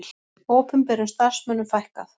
Opinberum starfsmönnum fækkað